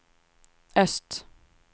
öst